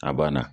A banna